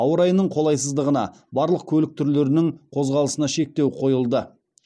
ауа райының қолайсыздығына барлық көлік түрлерінің қозғалысына шектеу қойылды